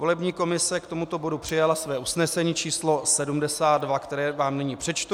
Volební komise k tomuto bodu přijala své usnesení číslo 72, které vám nyní přečtu.